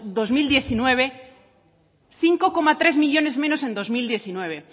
dos mil diecinueve cinco coma tres millónes menos en dos mil diecinueve